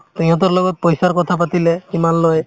সিহঁতৰ লগত পইচাৰ কথা পাতিলে কিমান লয়